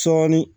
Sɔɔni